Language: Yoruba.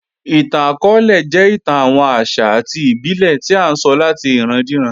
Ìtàn akọọ́lẹ̀ jẹ́ ìtàn àwọn àṣà àti ìbílè tí à ńsọ láti ìran díran